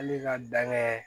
Hali ka dan kɛ